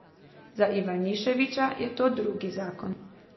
Za Ivaniševića je to drugi zakon.